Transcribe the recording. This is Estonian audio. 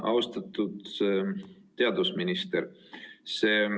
Austatud teadusminister!